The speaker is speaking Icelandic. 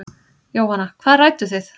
Jóhanna: Hvað rædduð þið?